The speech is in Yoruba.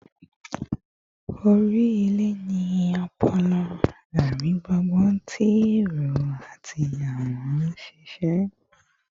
Ori ile ni ọpọlọ, arigbungbun ti ero ati awọn sise